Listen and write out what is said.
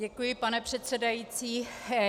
Děkuji, pane předsedající.